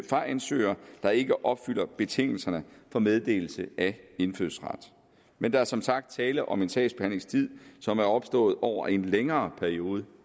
fra ansøgere der ikke opfylder betingelserne for meddelelse af indfødsret men der er som sagt tale om en sagsbehandlingstid som er opstået over en længere periode